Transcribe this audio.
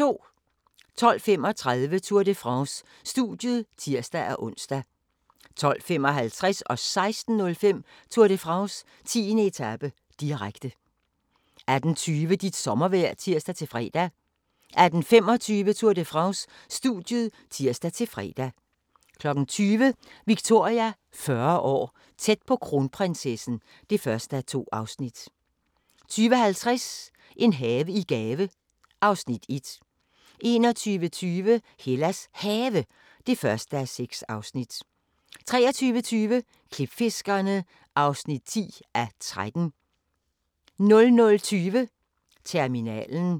12:35: Tour de France: Studiet (tir-ons) 12:55: Tour de France: 10. etape, direkte 16:05: Tour de France: 10. etape, direkte 18:20: Dit sommervejr (tir-fre) 18:25: Tour de France: Studiet (tir-fre) 20:00: Victoria 40 år - tæt på kronprinsessen (1:2) 20:50: En have i gave (Afs. 1) 21:25: Hellas Have (1:6) 23:20: Klipfiskerne (10:13) 00:20: Terminalen